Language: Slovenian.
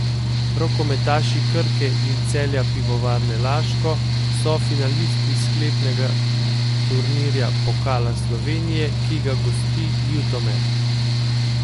Rokometaši Krke in Celja Pivovarne Laško so finalisti sklepnega turnirja Pokala Slovenije, ki ga gosti Ljutomer.